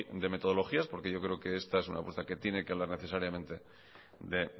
de metodologías porque yo creo que esta es una apuesta que tiene que hablar necesariamente de